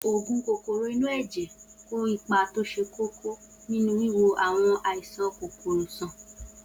Oògùn kòkòrò inú ẹ̀jẹ̀ kó ipa tó ṣe kókó nínú wíwo àwọn àìsàn kòkòrò sàn